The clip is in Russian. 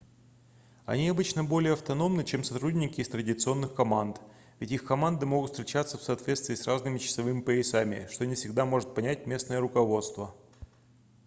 они обычно более автономны чем сотрудники из традиционных команд ведь их команды могут встречаться в соответствии с разными часовыми поясами что не всегда может понять местное руководство